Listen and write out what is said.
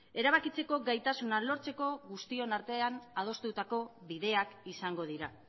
erabakitzeko gaitasuna lortzeko guztion artean adostutako bideak izango dira